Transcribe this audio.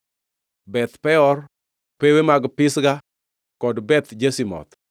Beth Peor, pewe mag Pisga, kod Beth Jeshimoth,